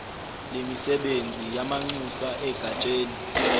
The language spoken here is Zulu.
lemisebenzi yamanxusa egatsheni